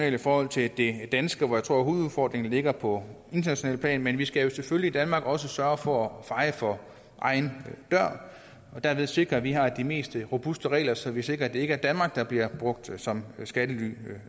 i forhold til det danske hvor jeg tror at hovedudfordringen ligger på internationalt plan men vi skal jo selvfølgelig i danmark også sørge for at feje for egen dør og derved sikre at vi har de mest robuste regler så vi sikrer at det ikke er danmark der bliver brugt som skattelyland